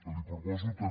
li proposo també